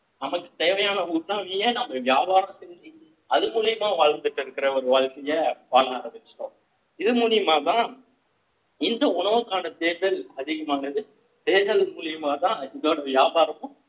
நமக்கு தேவையான உணவவையே நம்ம வியாபாரம் செஞ்சு அது மூலியமா வாழ்ந்துட்டு இருக்கிற ஒரு வாழ்க்கையை வாழ ஆரம்பிச்சுட்டோம் இது மூலியமாதான் இந்த உணவுக்கான தேர்டல் அதிகமானது தேர்டல் மூலியமா தான் இதோட வியாபாரமும்